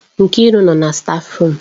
Nkiru nọ na stáfruum.